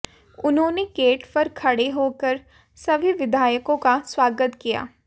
उन्होंने गेट पर खड़े होकर सभी विधायकों का स्वागत किया